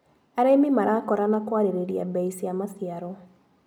Arĩmi marakorana kũarĩrĩria mbei cia maciaro.